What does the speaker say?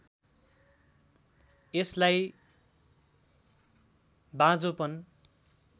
यसलाई बाँझोपन